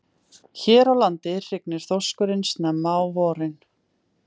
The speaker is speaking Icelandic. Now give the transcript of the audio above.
Hér á landi hrygnir þorskurinn snemma á vorin.